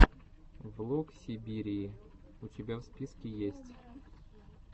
влог сибирии у тебя в списке есть